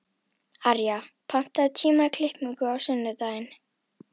Arja, pantaðu tíma í klippingu á sunnudaginn.